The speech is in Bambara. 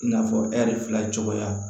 I n'a fɔ ɛri fila cogoya